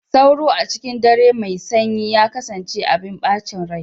Sauro, a cikin dare mai sanyi, ya kasance abin bacin rai.